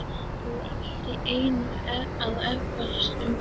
Ég fór allt í einu að efast um hann.